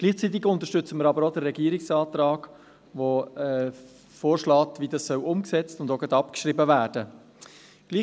Gleichzeitig unterstützen wir auch den Regierungsantrag, welcher vorschlägt, wie dies umgesetzt und zugleich abgeschrieben werden soll.